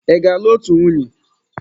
Ị ga-alụ otu nwunye!